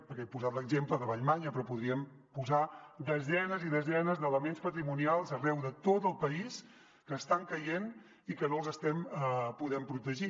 perquè he posat l’exemple de vallmanya però podríem posar desenes i desenes d’elements patrimonials arreu de tot el país que estan caient i que no els estem podent protegir